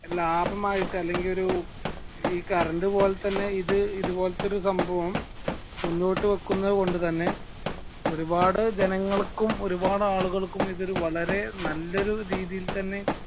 ലാഭമായിട്ട് അല്ലെങ്കിൽ ഒരു ഈ കറണ്ട് പോലെ തന്നെ ഈത് ഇതുപോലത്തത്തൊരു സംഭവം മുന്നോട്ടു വെക്കുന്നത് കൊണ്ട് തന്നെ ഒരുപാട് ജനങ്ങൾക്കും ഒരുപാട് ആളുകൾക്കും ഇതൊരു വളരെ നല്ലൊരു രീതിയിൽ തന്നെ